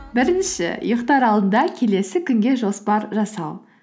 бірінші ұйықтар алдында келесі күнге жоспар жасау